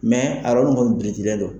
Mɛ a yɔrɔnin kɔni birintilen don.